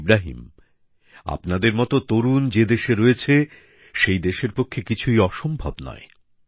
ইব্রাহিম আপনাদের মতো তরুণ যে দেশে রয়েছে সেই দেশের পক্ষে কিছুই অসম্ভব নয়